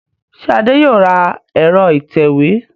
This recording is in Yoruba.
Ṣé Adé yóò ra ẹ̀rọ ìtẹ̀wé